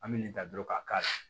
An bɛ nin da dɔrɔn k'a